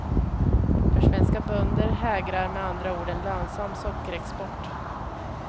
För svenska bönder hägrar med andra ord en lönsam sockerexport.